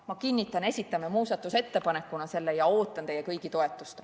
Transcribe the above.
Ma kinnitan, et esitame selle muudatusettepanekuna, ja ootan teie kõigi toetust.